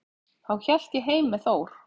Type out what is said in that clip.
Þá hélt ég heim með Þór.